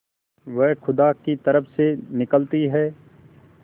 वह खुदा की तरफ से निकलती है